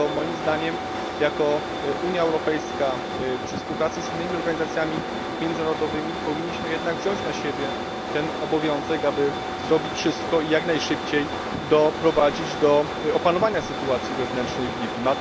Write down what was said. Dlatego moim zdaniem jako Unia Europejska przy współpracy innych organizacji międzynarodowych powinniśmy jednak wziąć na siebie ten obowiązek, aby zrobić wszystko i jak najszybciej doprowadzić do opanowania sytuacji wewnętrznej w Libii.